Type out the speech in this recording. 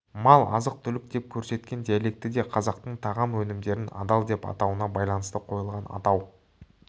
мал азық-түлік деп көрсеткен диалекті де қазақтың тағам өнімдерін адал деп атауына байланысты қойылған атау